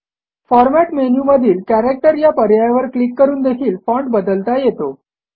format मेनूमधील character या पर्यायावर क्लिक करून देखील फाँट बदलता येतो